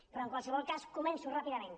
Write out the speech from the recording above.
però en qualsevol cas començo ràpidament